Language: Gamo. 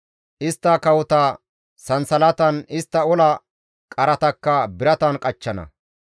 Istta kawota sansalatan, istta ola qaratakka biratan qachchana.